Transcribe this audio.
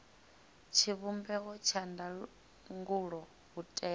tshivhumbeo tsha ndangulo u tea